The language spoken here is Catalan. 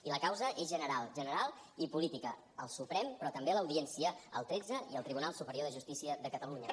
i la causa és general general i política al suprem però també a l’audiència al tretze i al tribunal superior de justícia de catalunya